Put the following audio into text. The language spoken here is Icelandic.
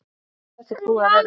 Þetta er búið að vera.